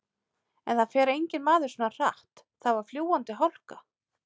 En það fer enginn maður svona hratt, það var fljúgandi hálka.